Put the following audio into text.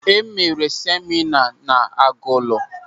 E mere semịna ahụ n'Agụlụ.